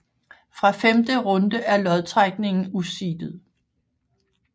Fra femte runde er lodtrækningen useedet